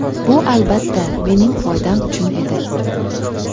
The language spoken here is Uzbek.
Bu albatta, mening foydam uchun edi.